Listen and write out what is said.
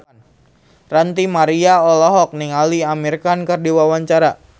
Ranty Maria olohok ningali Amir Khan keur diwawancara